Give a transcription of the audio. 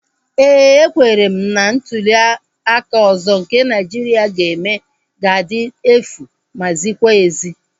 Éè, ekwere m na ntuliaka ọzọ nke Naịjiria ga-eme ga-adị efu ma zikwa ezi